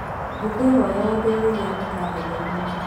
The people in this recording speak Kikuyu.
ngũkwĩhoya wongerere gĩathĩ karenda-inĩ